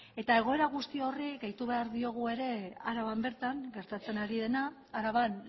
egoera guzti horri gehitu behar diogu ere araban bertan gertatzen ari dena araban